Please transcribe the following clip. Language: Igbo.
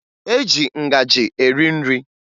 E ji ngaji eri nri